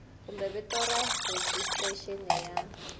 kumbe vito ra rejistrexini ya